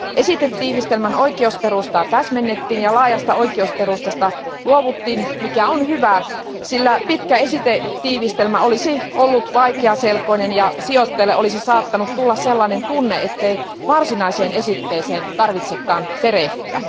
Esitetiivistelmän oikeusperustaa täsmennettiin ja laajasta oikeusperustasta luovuttiin, mikä on hyvä, sillä pitkä esitetiivistelmä olisi ollut vaikeaselkoinen ja sijoittajalle olisi saattanut tulla sellainen tunne, ettei varsinaiseen esitteeseen tarvitsekaan perehtyä.